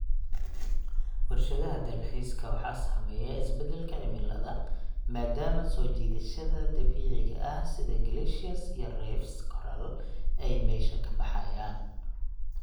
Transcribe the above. Warshadaha dalxiiska waxaa saameeya isbeddelka cimiladu maadaama soo jiidashada dabiiciga ah sida glaciers iyo reefs coral ay meesha ka baxayaan.